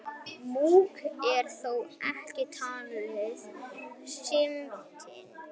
Múkk er þó ekki talið smitandi.